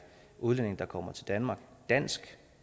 udlændinge der kommer til danmark dansk